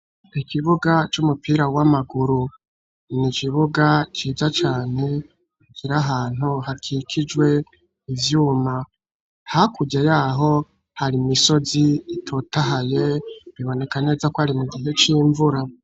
Ikibuga c'umupira w'amaguru. Ni ikibuga ciza cane, kiri ahantu hakikijwe ivyuma. Hakurya yaho hari imisozi itotahaye, biboneka neza ko ari mu gihe c'imvura.